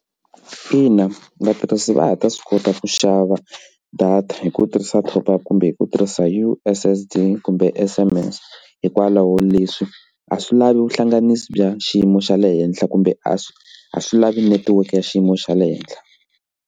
Ina, vatirhisi va ha ta swi kota ku xava data hi ku tirhisa top up kumbe hi ku tirhisa u_s_s_d kumbe S_M_S hikwalaho leswi a swi lavi vuhlanganisi bya xiyimo xa le henhla kumbe a swi a swi lavi netiweke ya xiyimo xa le henhla.